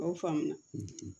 A y'aw faamuya